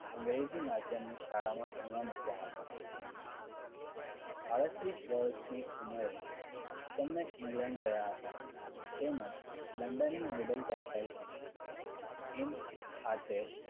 અંગ્રેજી માધ્યમની શાળાઓમાં ભણવા મૂક્યા હતા આડત્રીસ વર્ષની ઉંમરે તેમને england ગયા હતા. તેમજ london ની middle temple in ખાતે